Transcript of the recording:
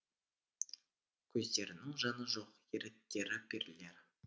көздерінің жаны жоқ еріктері перілер